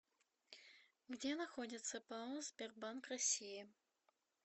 где находится пао сбербанк россии